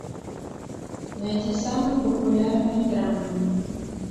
найди самые популярные драмы